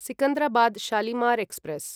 Secunderabad Shalimar express